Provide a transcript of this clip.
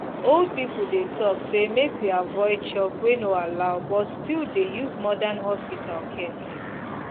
old people dey talk say make we avoid chop wey no allow but still dey use modern hospital care